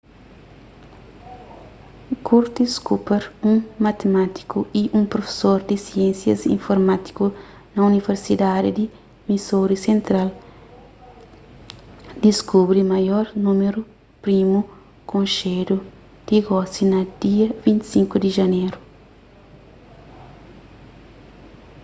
curtis cooper un matimátiku y un profesor di siénsias informátiku na universidadi di missouri sentral diskubri maior númeru primu konxedu ti gosi na dia 25 di janeru